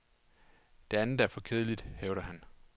Det andet er for kedeligt, hævder han.